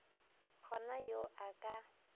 go na yo a ka